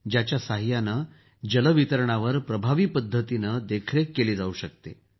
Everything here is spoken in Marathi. याच्या सहाय्यानं जल वितरणावर प्रभावी पद्धतीनं देखरेख केली जाऊ शकते